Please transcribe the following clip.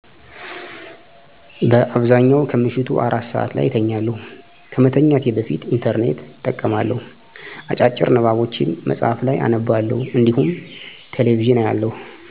በአብዛኛው ከምሽቱ አራት ሰዐት ላይ እተኛለሁ። ከመተኛቴ በፊት "ኢንተርኔት" እጠቀማለሁ፣ አጫጭር ንባቦችን መጽሀፍ ላይ አነባለሁ እንዲሁም ቴሌ ቪዥን አያለሁ።